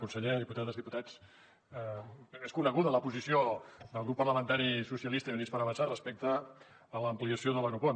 conseller diputades diputats és coneguda la posició del grup parlamentari socialistes i units per avançar respecte a l’ampliació de l’aeroport